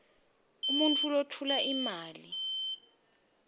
umuntfu lotfola imali